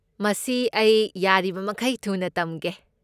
ꯃꯁꯤ ꯑꯩ ꯌꯥꯔꯤꯕꯃꯈꯩ ꯊꯨꯅ ꯇꯝꯒꯦ꯫